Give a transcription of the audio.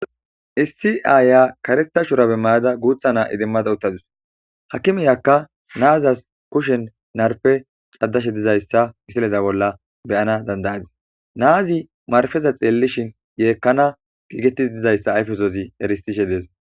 issi aaya karetha shurabe mayada guutha naa idimmada uttadus hakimiyakka naazas kushen narfe caddashe dizayssa misileza bolla beyana dandayadis naazi marfeza xeellishin yeekkana giigettida dizayssa ayfesozi eristishe dees